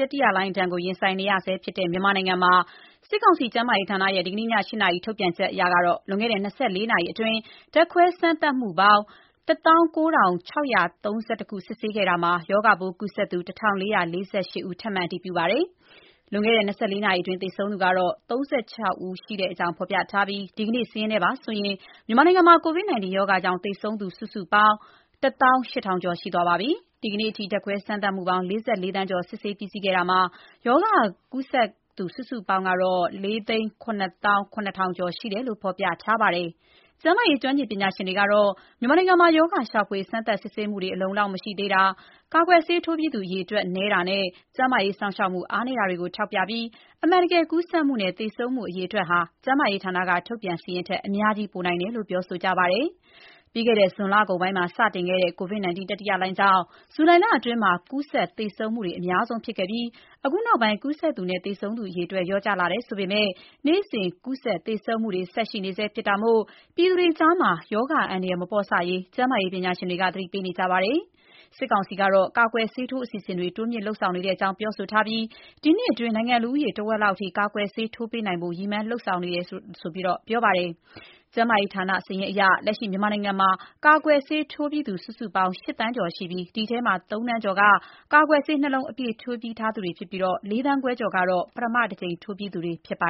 တတိယလှိုင်းဒဏ်ကို ရင်ဆိုင်နေရဆဲဖြစ်တဲ့ မြန်မာနိုင်ငံမှာ စစ်ကောင်စီ ကျန်းမာရေးဌာနရဲ့ ဒီကနေ့ည ၈ နာရီ ထုတ်ပြန်ချက်အရ လွန်ခဲ့တဲ့ ၂၄ နာရီအတွင်း ဓာတ်ခွဲစမ်းသပ်မှုပေါင်း ၁၉,၆၃၁ စစ်ဆေးခဲ့တာမှာ ရောဂါပိုးကူးစက်သူ ၁,၄၄၈ ယောက် ထပ်မံ အတည်ပြုထားပါတယ်။ လွန်ခဲ့တဲ့ ၂၄ နာရီအတွင်း သေဆုံးသူကတော့ ၃၆ ဦး ရှိတဲ့အကြောင်း ဖော်ပြထားပြီး ဒီကနေ့စာရင်းနဲ့ပါဆိုရင် မြန်မာနိုင်ငံမှာ COVID-19 ရောဂါကြောင့် သေဆုံးသူ စုစုပေါင်း ၁၈,၁၀၄ ယောက်ရှိပါပြီ။ ဒီကနေ့အထိ ဓာတ်ခွဲစမ်းသပ်မှုပေါင်း ၄၄ သန်းကျော် စစ်ဆေးပြီးစီးခဲ့တာမှာ ရောဂါကူးစက်သူ စုစုပေါင်းကတော့ ၄၇၇,၀၀၀ ကျော်ရှိတယ်လို့ ဖော်ပြထားပါတယ်။ ကျန်းမာရေး ကျွမ်းကျင်ပညာရှင်တွေကတော့ မြန်မာနိုင်ငံမှာ ရောဂါရှာဖွေ စမ်းသပ်စစ်ဆေးမှုတွေ အလုံအလောက်မရှိတာ၊ ကာကွယ်ဆေးထိုးပြီးသူ အရေအတွက် နည်းတာနဲ့ ကျန်းမာရေးစောင့်ရှောက်မှု အားနည်းတာတွေကို ထောက်ပြပြီး အမှန်တကယ် ကူးစက်မှုနဲ့ သေဆုံးမှု အရေအတွက်ဟာ ကျန်းမာရေးဌာနက ထုတ်ပြန်တဲ့စာရင်းထက် အများကြီး ပိုများနိုင်တယ်လို့ ပြောဆိုကြပါတယ်။ ပြီးခဲ့တဲ့ ဇွန်လကုန်ပိုင်းမှာ စခဲ့တဲ့ COVID-19 တတိယလှိုင်းကြောင့် ဇူလိုင်လအတွင်း ကူးစက်သေဆုံးမှု အများဆုံးဖြစ်ခဲ့ပြီး အခုနောက်ပိုင်း ကူးစက်သူနဲ့ သေဆုံးသူ အရေအတွက် လျော့ကျလာတယ်ဆိုပေမယ့် နေ့စဉ် ကူးစက်သေဆုံးမှုတွေ ဆက်ရှိနေဆဲဖြစ်တာမို့ ပြည်သူတွေကြား ရောဂါအန္တရာယ် မပေါ့ဆရေး ကျန်းမာရေးပညာရှင်တွေက သတိပေးနေပါတယ်။ စစ်ကောင်စီကတော့ ကာကွယ်ဆေးထိုး အစီအစဉ်တွေ တိုးမြှင့်လုပ်ဆောင်နေကြောင်း ပြောဆိုထားပြီး ဒီနှစ်အတွင်း နိုင်ငံလူဦးရေ ထက်ဝက်လောက်အထိ ကာကွယ်ဆေး ထိုးပေးနိုင်ဖို့ ရည်မှန်းလုပ်ဆောင်နေကြောင်း ပြောဆိုထားပါတယ်။ ကျန်းမာရေးဌာန စာရင်းအရ မြန်မာနိုင်ငံမှာ လက်ရှိအချိန်ထိ ကာကွယ်ဆေးထိုးပြီးသူ ၈ သန်းကျော်ရှိတာမှာ ၃ သန်းကျော်က ကာကွယ်ဆေး အပြည့်ထိုးပြီးသူတွေဖြစ်ပြီး ၄ သန်းခွဲကျော်ကတော့ ပထမတကြိမ် ထိုးပြီးသူတွေ ဖြစ်ပါ